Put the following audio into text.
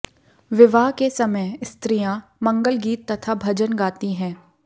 विवाह के समय स्त्रियाँ मंगल गीत तथा भजन गाती है